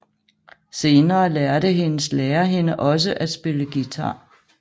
Senere lærte hendes lærer hende også at spille guitar